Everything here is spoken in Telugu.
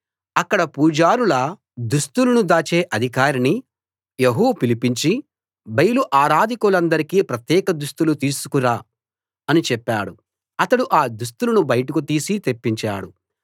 అక్కడ పూజారుల దుస్తులను దాచే అధికారిని యెహూ పిలిపించి బయలు ఆరాధకులందరికీ ప్రత్యేక దుస్తులు తీసుకు రా అని చెప్పాడు అతడు ఆ దుస్తులను బయటకు తీసి తెప్పించాడు